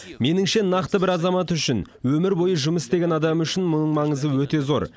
меніңше нақты бір азамат үшін өмір бойы жұмыс істеген адам үшін мұның маңызы өте зор